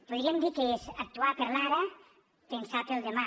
podríem dir que és actuar per l’ara pensar pel demà